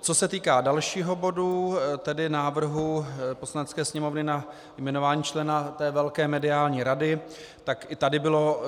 Co se týká dalšího bodu, tedy návrhu Poslanecké sněmovny na jmenování člena té velké mediální rady, tak i tady bylo